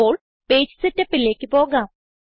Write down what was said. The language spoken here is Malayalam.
ഇപ്പോൾ പേജ് Setupലേക്ക് പോകാം